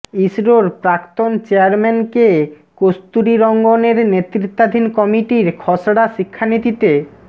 ইসরোর প্রাক্তন chairman K কস্তুরীরঙ্গনের নেতৃত্বাধীন কমিটির খসড়া শিক্ষানীতিতে